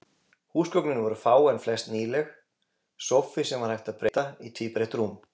Húsgögnin voru fá, en flest nýleg: sófi, sem var hægt að breyta í tvíbreitt rúm.